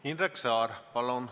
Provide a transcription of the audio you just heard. Indrek Saar, palun!